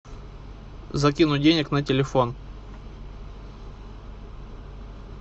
закинуть денег на телефон